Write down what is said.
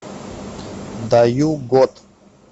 даю год